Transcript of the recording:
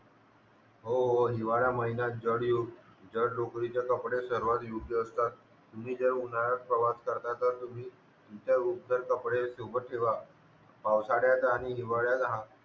हो हो हिवाळा महिना जाड युग जर लोक इथे कपडे सर्वात योग्य असतात तुम्ही जर उन्हाळ्यात प्रवास करतात तर तुम्ही इथलेउबदार कपडे तुमचेही सोबत ठेवका पावसाळ्यात आणि हिवाळ्यात हा